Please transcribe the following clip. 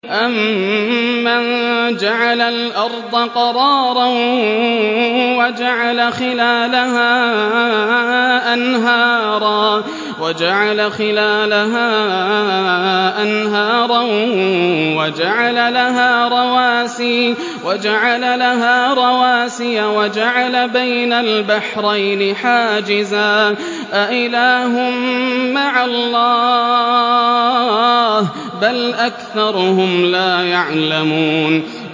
أَمَّن جَعَلَ الْأَرْضَ قَرَارًا وَجَعَلَ خِلَالَهَا أَنْهَارًا وَجَعَلَ لَهَا رَوَاسِيَ وَجَعَلَ بَيْنَ الْبَحْرَيْنِ حَاجِزًا ۗ أَإِلَٰهٌ مَّعَ اللَّهِ ۚ بَلْ أَكْثَرُهُمْ لَا يَعْلَمُونَ